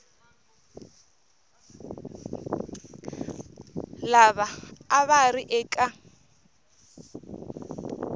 lava a va ri eka